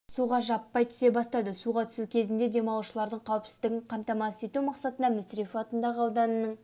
суға жаппай түсе бастады суға түсу кезінде демалушылардың қауіпсіздігін қамтамасыз ету мақсатында мүсірепов атындағы ауданның